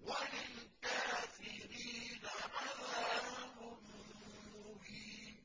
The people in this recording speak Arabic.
وَلِلْكَافِرِينَ عَذَابٌ مُّهِينٌ